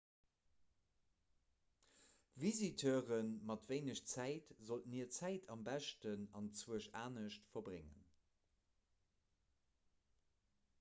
visiteure mat wéineg zäit sollten hir zäit am beschten anzwousch anescht verbréngen